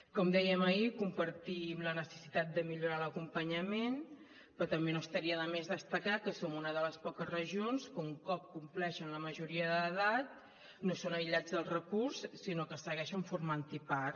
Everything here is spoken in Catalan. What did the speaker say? com dèiem ahir compartim la necessitat de millorar l’acompanyament però també no estaria de més destacar que som una de les poques regions que un cop compleixen la majoria d’edat no són aïllats del recurs sinó que segueixen formant ne part